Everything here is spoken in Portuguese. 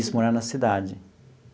Isso, morar na cidade.